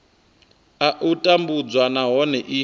a u tambudzwa nahone i